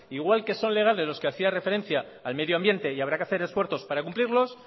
igual que son legales los que hacía referencia al medio ambiente y habrá que hacer esfuerzos para cumplirlos